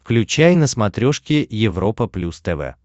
включай на смотрешке европа плюс тв